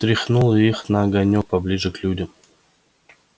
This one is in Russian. тряхнуло их на огонёк поближе к людям